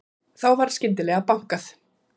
Þá var skyndilega bankað.